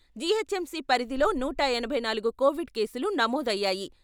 GHMC పరిధిలో నూట ఎనభై నాలుగు కోవిడ్ కేసులు నమోదయ్యాయి.